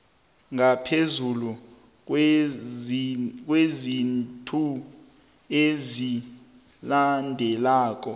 ngaphezulu kweenzathu ezilandelako